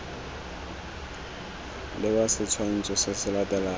leba setshwantsho se se latelang